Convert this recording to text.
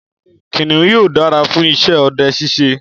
Kìnìún yóò dára fún iṣẹ ọdẹ ṣiṣe.